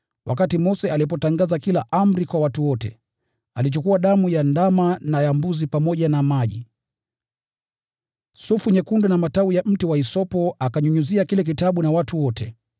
Mose alipotangaza kila amri kwa watu wote, alichukua damu ya ndama na ya mbuzi, pamoja na maji, sufu nyekundu na matawi ya mti wa hisopo, akanyunyizia kile kitabu na watu wote.